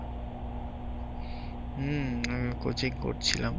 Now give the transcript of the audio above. হ্যা coaching করছিলাম।